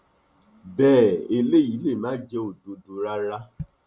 bẹẹ eléyìí lè má jẹ òdodo rárá